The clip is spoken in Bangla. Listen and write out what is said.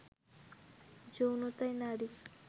যৌনতায় নারী